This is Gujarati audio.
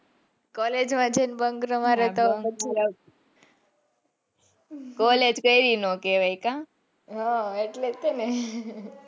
college હોય છે ને bunk ના મરીયે તો college કરી નો કેવાય કા,